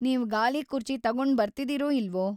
ನೀವ್‌ ಗಾಲಿಕುರ್ಚಿ ತಗೊಂಡ್‌ ಬರ್ತಿದೀರೋ ಇಲ್ವೋ?